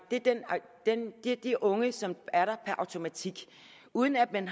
er de unge som er der per automatik uden at man